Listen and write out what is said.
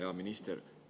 Hea minister!